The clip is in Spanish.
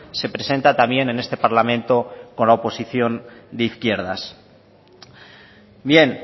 se presenta también en este parlamento con la oposición de izquierdas bien